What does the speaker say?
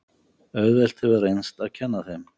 Auðvelt hefur reynst að kenna þeim.